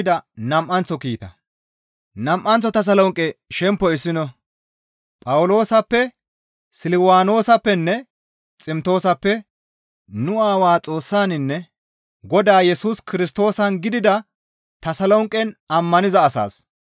Phawuloosappe, Silwaanoosappenne Ximtoosappe; nu Aawaa Xoossaninne Godaa Yesus Kirstoosan gidida Tasolonqen ammaniza asaas,